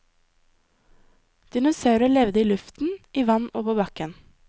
Dinosaurer levde i luften, i vann og på bakken.